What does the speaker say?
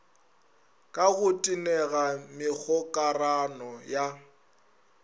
ka go tenega megokarano ya